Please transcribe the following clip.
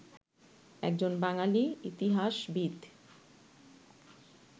একজন বাঙালি ইতিহাসবিদ